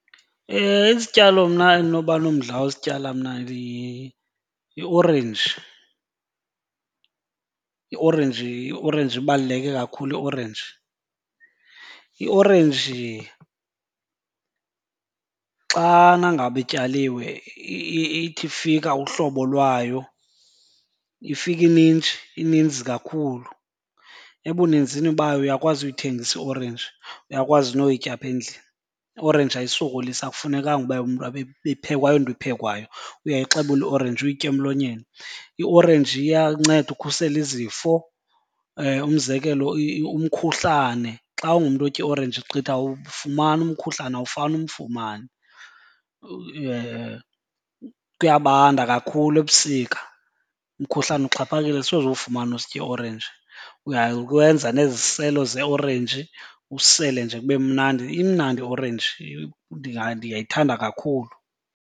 Isityalo mna endinoba nomdla wosityala mna yiorenji. Iorenji iorenji ibaluleke kakhulu iorenji. Iorenji xana ngaba ityaliwe ithi ifika uhlobo lwayo ifike ininji, ininzi kakhulu. Ebunzini bayo uyakwazi uyithengisa iorenji, uyakwazi noyitya apha endlini. Iorenji ayisokolisi akufunekanga uba umntu abe ibiphekwa, ayonto iphekwayo. Uyayixobula iorenji uyitye emlonyeni. Iorenji iyanceda ukhusela izifo, umzekelo umkhuhlane. Xa ungumntu otya iorenji gqitha awumfumani umkhuhlane, awufani umfumane. Kuyabanda kakhulu ebusika umkhuhlane uxhaphakile, soze uwufumane usitya iorenji. Uyakwenza neziselo zeorenji usele nje kube mnandi. Imnandi iorenji ndiyayithanda kakhulu.